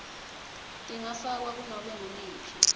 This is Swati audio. tingafakwa kunobe nguliphi